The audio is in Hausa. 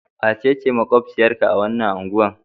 Wace ce maƙwabciyarka a wannan unguwar?